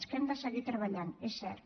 que hi hem de seguir treballant és cert